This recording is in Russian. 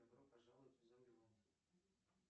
добро пожаловать в зомбилэнд